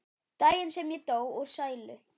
Daginn sem ég dó úr sælu.